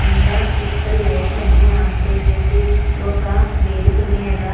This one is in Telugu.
ఇంకా ఇక్కడ అని లైట్ లు ఆఫ్ చెసెఇ ఒక వేదిక మేధా.